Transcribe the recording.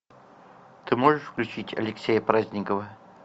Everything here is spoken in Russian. ты можешь включить алексея праздникова